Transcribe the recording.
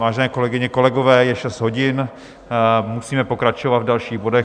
Vážené kolegyně, kolegové, je šest hodin, musíme pokračovat v dalších bodech.